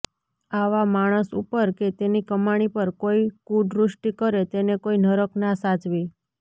આવા માણસ ઉપર કે તેની કમાણી પર કોઈ કુદ્રષ્ટિ કરે તેને કોઈ નરક ના સાચવે